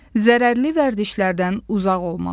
Zərərli vərdişlərdən uzaq olmaq.